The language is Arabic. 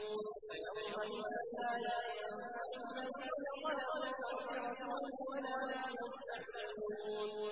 فَيَوْمَئِذٍ لَّا يَنفَعُ الَّذِينَ ظَلَمُوا مَعْذِرَتُهُمْ وَلَا هُمْ يُسْتَعْتَبُونَ